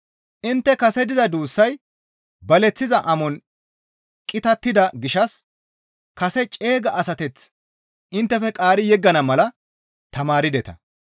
Intte kase diza duussay baleththiza amon qitattida gishshas kase ceega asateth inttefe qaari yeggana mala tamaardeta.